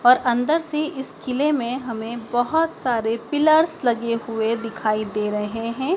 और अंदर से इस किले में हमें बहोत सारे पिलर्स लगे हुए दिखाई दे रहे हैं।